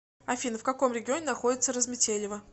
афина в каком регионе находится разметелево